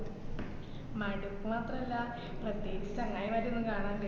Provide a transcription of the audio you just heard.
മടുപ്പ് മാത്രല്ല പ്രത്യേകിച്ച് ചങ്ങയിമാരെ ഒന്നും കാണാൻ